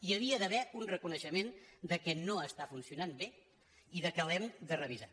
hi havia d’haver un reconeixement que no està funci·onant bé i que l’hem de revisar